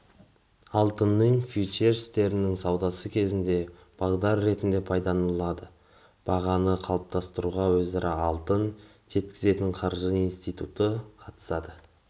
алтынның фьючерстерінің саудасы кезінде бағдар ретінде пайдаланылады бағаны қалыптастыруға өзара алтын жеткізетін қаржы институты қатысады